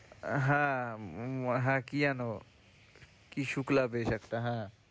হ্যাঁ, উম হ্যাঁ কি যেন কি শুক্লা বেশ একটা হ্যাঁ।